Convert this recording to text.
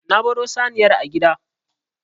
Na baro saniyar a gida.